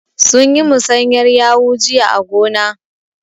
Sun yi musanyar yawu jiya a gona.